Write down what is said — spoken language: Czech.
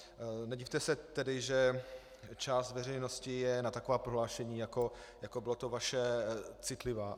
Nedivte se tedy, že část veřejnosti je na taková prohlášení, jako bylo to vaše, citlivá.